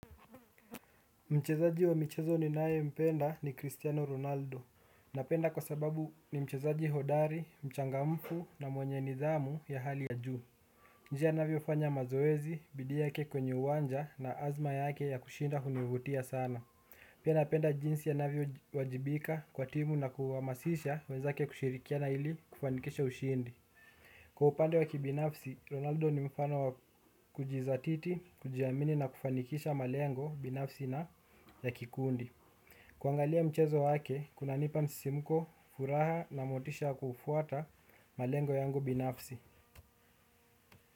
Mchezaji wa michezo ninayempenda ni Cristiano Ronaldo. Napenda kwa sababu ni mchezaji hodari, mchangamfu na mwenye nidhamu ya hali ya juu. Njia anavyofanya mazoezi, bidii yake kwenye uwanja na azma yake ya kushinda hunivutia sana. Pia napenda jinsi anavyowajibika kwa timu na kuhamasisha wenzake kushirikiana ili kufanikisha ushindi. Kwa upande wa kibinafsi, Ronaldo ni mfano wa kujizatiti, kujiamini na kufanikisha malengo binafsi na ya kikundi. Kuangalia mchezo wake, kunanipa msisimko, furaha na motisha wa kufuata malengo yangu binafsi.